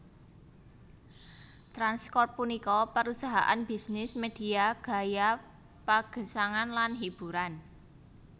Trans Corp punika parusahaan bisnis medhia gaya pagesangan lan hiburan